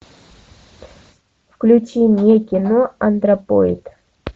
включи мне кино антропоид